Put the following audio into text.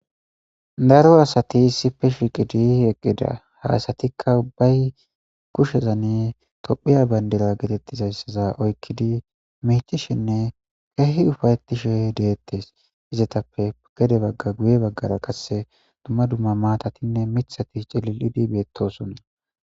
daro asati sipe shiqidi eqqida hasatikka ubbay kushezanne tophiya bayndila getettizayssaza oykkidi micishenne ehi ufayetishe deettes izetappe gede bagga guye baggara qasse dumma dumma maatatinne mithati celil7idi beettosonna